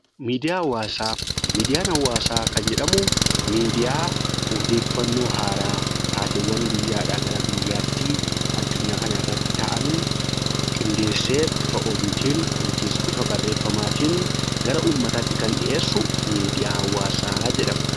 Miidiyaa hawaasaa Miidiyaan hawaasaa kan jedhamu miidiyaa odeeffannoo haaraa, taateewwan guyyaadhaa gara guyyaatti addunyaa kana irratti ta'an qindeessee bifa oduutiin yookiis bifa barreeffamaatiin gara ummataatti kan dhiyeessu miidiyaa hawaasaa jedhama.